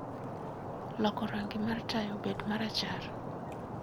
loko rangi mar taya obed marachar